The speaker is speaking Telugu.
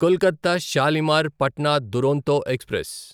కొల్కత షాలిమార్ పట్నా దురంతో ఎక్స్ప్రెస్